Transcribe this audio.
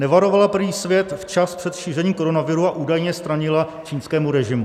Nevarovala prý svět včas před šířením koronaviru a údajně stranila čínskému režimu.